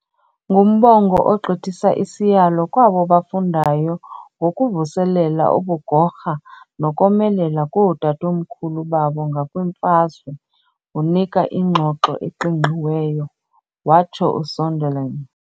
"Ngumbongo ogqithisa isiyalo kwabo bafundayo ngokuvuselela ubugorha nokomelela kootatomkhulu babo ngakwimfazwe, unika ingxoxo eqingqiweyo," watsho Sonderling.